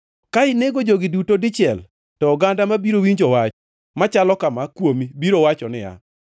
Ka inego jogi duto dichiel, to oganda mabiro winjo wach machalo kama kuomi biro wacho niya,